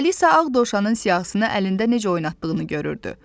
Alisa ağ dovşanın siyahısını əlində necə oynatdığını görürdü.